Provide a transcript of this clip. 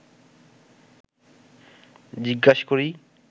জিজ্ঞেস করি